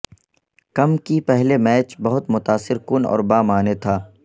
کم کی پہلے میچ بہت متاثر کن اور بامعنی تھا